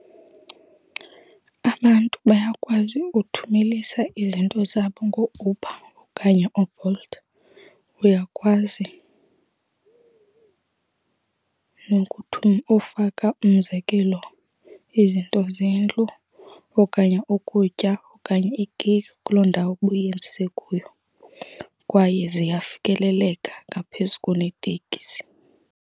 Abantu bayakwazi ukuthumelisa izinto zabo ngooUber okanye ooBolt. Uyakwazi ufaka, umzekelo, izinto zendlu okanye ukutya okanye ikeyiki kuloo ndawo ubuyenzise kuyo. Kwaye ziyafikeleleka ngaphezu kuneteksi.